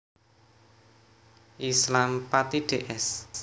Islam Pati Ds